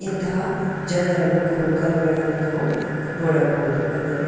ಇಂತಹ ಜನರ ನೂಕುನುಗ್ಗಲುಗಳನ್ನು ನಾವು ನೋಡಬಹುದು ಅಲ್ಲವೇ.